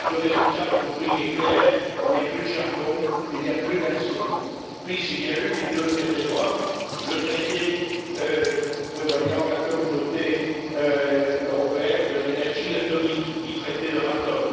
Le résultat dans mon pays est clair il n'y a plus de charbon, il n'y a plus d'acier. Puis, il y a eu les deux traités de Rome, le traité prévoyant la Communauté européenne de l'énergie atomique, dit traité Euratom.